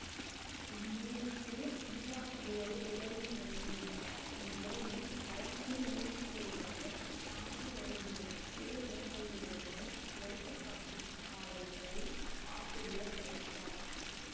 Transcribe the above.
இந்நூலுக்கு நூலாசிரியரே உரையும் எழுதியுள்ளார் இவ்வுரையில் பழந்தமிழ் நூல்களிலிருந்தும் தானே எழுதிய பிற நூல்களிலிருந்தும் எடுத்துக்காட்டுப் பாடல்களை ஆசிரியர் தருகிறார்